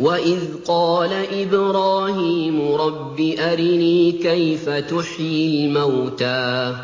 وَإِذْ قَالَ إِبْرَاهِيمُ رَبِّ أَرِنِي كَيْفَ تُحْيِي الْمَوْتَىٰ ۖ